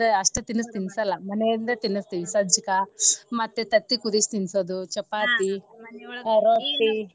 ಅಷ್ಟ ತಿನ್ಸ ತಿನ್ಸಲ್ಲ ಮನೆಯಿಂದನ ತಿನಸ್ತೇವ ಸಜ್ಜಕಾ ಮತ್ತೆ ತತ್ತಿ ಕುದ್ದ್ಸಿ ತಿನ್ಸೋದು ಚಪಾತಿ .